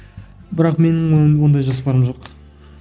бірақ менің ондай жоспарым жоқ